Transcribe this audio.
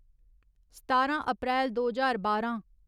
सतारां अप्रैल दो ज्हार बारां